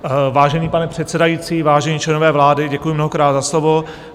Vážený pane předsedající, vážení členové vlády, děkuji mnohokrát za slovo.